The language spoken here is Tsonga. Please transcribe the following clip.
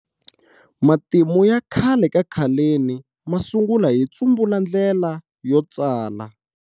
Matimu ya khale ka khaleni ma sungula hi tsumbula ndlela yo tsala.